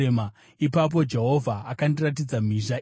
Ipapo Jehovha akandiratidza mhizha ina.